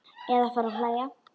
Eða fara að hlæja.